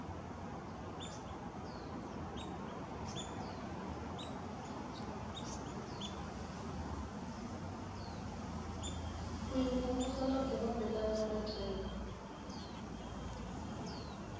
u imvumvusa na dziwe mbekanyamaitele